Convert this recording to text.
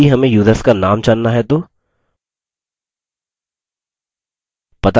यदि हमें युसर्स का names जानना है तो